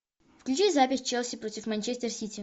включи запись челси против манчестер сити